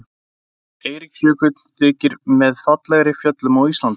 Eiríksjökull þykir með fallegri fjöllum á Íslandi.